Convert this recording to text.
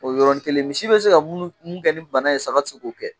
O yɔrɔ nin kelen, misi bɛ se ka min kɛ ni bana ye, saga tɛ se k'o kɛ!